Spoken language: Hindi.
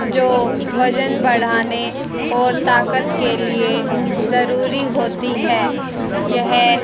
जो वजन बढ़ाने और ताकत के लिए जरूरी होती है यह--